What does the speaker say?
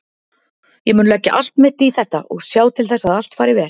Ég mun leggja allt mitt í þetta og sjá til þess að allt fari vel.